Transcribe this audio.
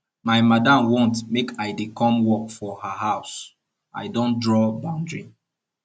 my madam want make i dey come work for her house i don draw boundary